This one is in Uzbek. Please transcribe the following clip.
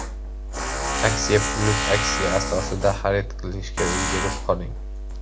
Aksiya + aksiya asosida xarid qilishga ulgurib qoling!